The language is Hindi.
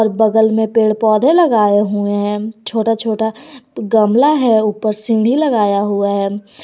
बगल में पेड़ पौधे लगाए हुए हैं छोटा छोटा गमला है ऊपर सीढी लगाया हुआ है।